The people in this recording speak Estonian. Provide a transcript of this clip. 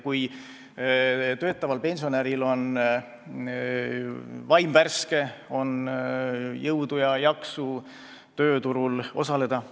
Kui töötaval pensionäril on vaim värske, on jõudu ja jaksu tööturul osaleda ...